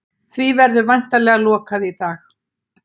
Því verður væntanlega lokað í dag